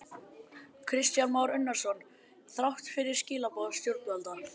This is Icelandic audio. Kristján Már Unnarsson: Þrátt fyrir skilaboð stjórnvalda?